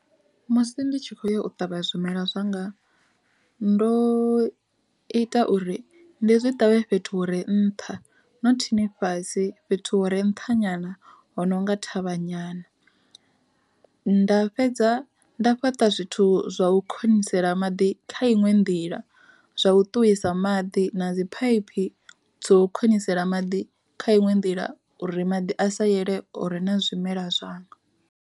Musi ndi tshi khoya u ṱavha zwimela zwanga, ndo ita uri ndi zwi ṱavhe fhethu hure nṱha no thini fhasi fhethu hore nṱha nyana hono nga thavha nyana. Nda fhedza nda fhaṱa zwithu zwa u khou konisela maḓi kha iṅwe nḓila, zwa u ṱuwisa maḓi na dzi phaiphi dzo khonisela maḓi kha iṅwe nḓila uri maḓi a sa yele hore na zwimela zwanga.